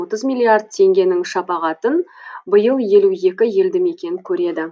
отыз миллиард теңгенің шапағатын биыл елу екі елді мекен көреді